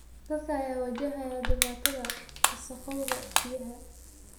Dadka ayaa wajahaya dhibaatada wasakhowga biyaha.